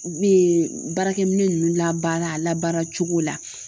U bɛ baarakɛ minɛ ninnu labaara a labaara cogo la